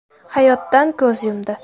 hayotdan ko‘z yumdi.